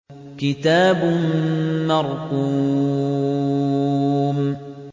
كِتَابٌ مَّرْقُومٌ